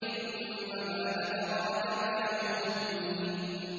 ثُمَّ مَا أَدْرَاكَ مَا يَوْمُ الدِّينِ